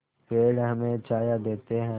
पेड़ हमें छाया देते हैं